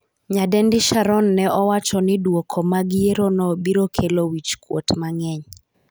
Nyadendi Sharon ne owacho ni dwoko mag yiero no biro kelo wich kuot mang'eny